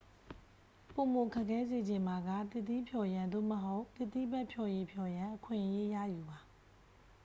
ပိုမို ခက်ခဲစေချင်ပါက သစ်သီးဖျော်ရန် သို့မဟုတ် အသီးဖတ်ဖျော်ရည်ဖျော်ရန် အခွင့်အရေး ရယူပါ